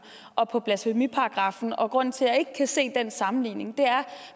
og på blasfemiparagraffen grunden til at jeg ikke kan se den sammenligning er